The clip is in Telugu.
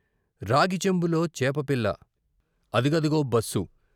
రాగి చెంబులో చేపపిల్ల అది గదిగో బస్సు.